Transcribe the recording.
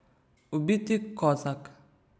Ubiti kozak ...